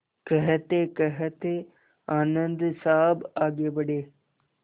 कहतेकहते आनन्द साहब आगे बढ़े